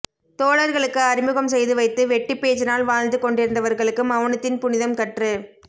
தோழர்களுக்கு அறிமுகம் செய்து வைத்து வெட்டிப்பேச்சினால் வாழ்ந்து கொண்டிருந்தவர்களுக்கு மெளனத்தின் புனிதம் கற்று